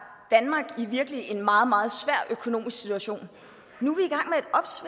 danmark virkelig i en meget meget svær økonomisk situation nu